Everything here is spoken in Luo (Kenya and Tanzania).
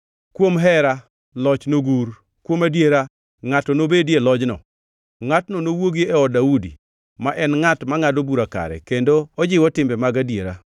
Kuom hera, loch nogur; kuom adiera ngʼato nobedie lojno, ngʼatno nowuogi e od Daudi, ma en ngʼat mangʼado bura kare, kendo ojiwo timbe mag adieri.